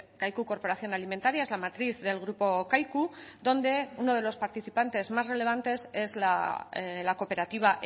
kaiku corporación alimentaria es la matriz del grupo kaiku donde uno de los participantes más relevantes es la cooperativa